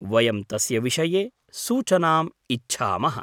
वयं तस्य विषये सूचनाम् इच्छामः।